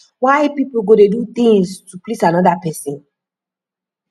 why people go dey do things to please another person